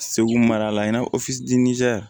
Segu mara la i n'a fɔ